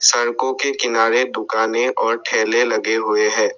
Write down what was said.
सड़कों के किनारे दुकानें और ठेले लगे हुए हैं।